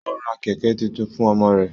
O rà kẹkẹ títún fún ọmọ rẹ.